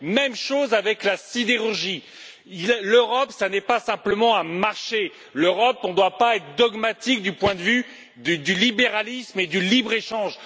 Même chose avec la sidérurgie. L'Europe n'est pas simplement un marché. L'Europe ne doit pas être dogmatique du point de vue du libéralisme et du libre échange.